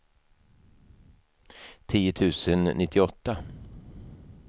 tio tusen nittioåtta